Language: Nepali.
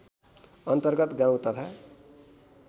अन्तर्गत गाउँ तथा